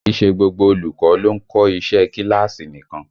Kì í ṣe gbogbo olùkọ́ ló ń kọ́ iṣẹ́ ẹ kíláàsì nìkan